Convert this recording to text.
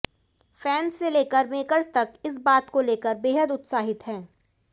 fans से लेकर makers तक इस बात को लेकर बेहद उत्साहित हैं